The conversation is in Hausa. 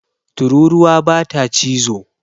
Tururuwa bata cizo